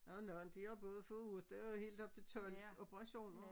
Der er nogen de har både fået 8 og helt op til 12 operationer